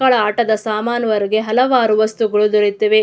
ಮಕ್ಕಳ ಆಟದ ಸಸಾಮಾನು ಹೊರಗೆ ಹಲವಾರು ವಸ್ತುಗಳು ದೊರೆಯುತ್ತದೆ.